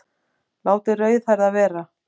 Látið rauðhærða vera